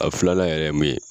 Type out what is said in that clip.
A filanan yɛrɛ min ye